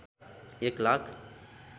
एक लाख